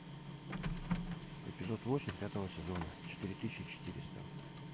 эпизод восемь пятого сезона четыре тысячи четыреста